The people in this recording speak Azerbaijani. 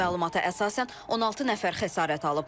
Məlumata əsasən 16 nəfər xəsarət alıb.